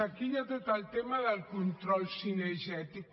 aquí hi ha tot el tema del control cinegètic